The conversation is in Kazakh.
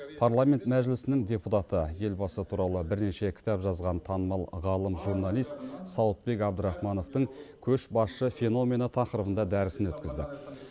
парламент мәжілісінің депутаты елбасы туралы бірнеше кітап жазған танымал ғалым журналист сауытбек әбдірахмановтың көшбасшы феномені тақырыбында дәрісін өткізді